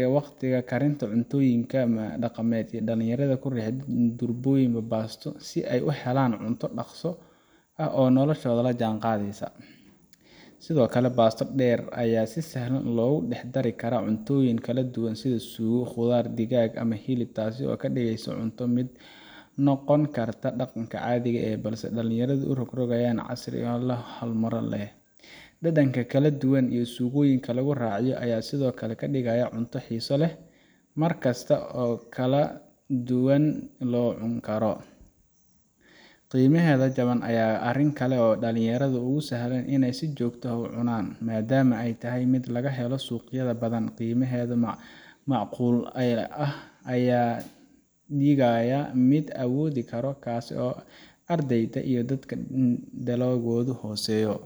iyo wagtiga kariinta cuntoyinka dagamed dalinyarada durboyinba pasto si ay uhelaan cunto ay si dagso oo nokosha olajangadeysa, sidhokale pasto deer ay si sahlaan logudaxdarikaraa cuntoyinka kaladuwan sidha sugaa qudar digag ama hilib, taasi oo kadigeyso cunto mid nogonkarta daqanka cadhii ee dalinyarada urogrogayan casri oo hormalin ah, dadanka kaladuwan iyo sugoyinka laguraciyo aya Sidhokale kadigaya cuntoyin xiso leh, markas oo kaladuwan locunkaro, qimaheda jawaan aya arinkale oo dalinyarada ugusahlaan inay jogta ah ucunan madamo aya tahay mid lagahelo suqyada badan gimahedana macqul aya ah digaya mel awodikaro taasi oo ardeyda iyo dadka danahoda hoseyo.